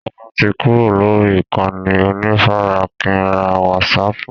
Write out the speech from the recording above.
Sọlá tí kúrò lórí ìkànnì onífarakínra wásààpù